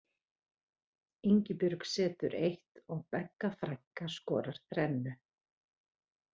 Ingibjörg setur eitt og Begga frænka skorar þrennu.